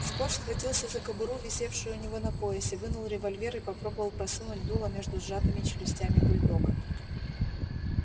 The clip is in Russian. скотт схватился за кобуру висевшую у него на поясе вынул револьвер и попробовал просунуть дуло между сжатыми челюстями бульдога